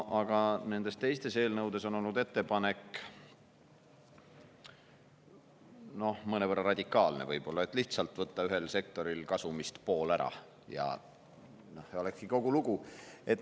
Aga nendes teistes eelnõudes olnud ettepanek oli võib-olla mõnevõrra radikaalsem, et lihtsalt võtta ühe sektori kasumist pool ära ja kogu lugu.